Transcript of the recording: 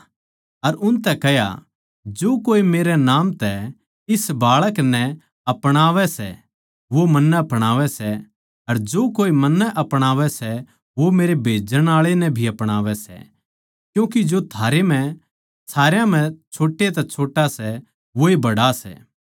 अर उनतै कह्या जो कोए मेरै नाम तै इस बाळक नै अपणावै सै वो मन्नै अपणावै सै अर जो कोए मन्नै अपणावै सै वो मेरै भेजण आळै नै भी अपणावै सै क्यूँके जो थारै म्ह सारया म्ह छोटे तै छोट्टा सै वोए बड्ड़ा सै